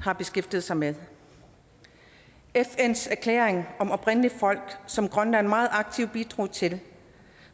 har beskæftiget sig med fns erklæring om oprindelige folk som grønland meget aktivt bidrog til